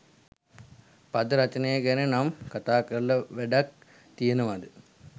පද රචනය ගැන නම් කතා කරලා වැඩක් තියෙනවාද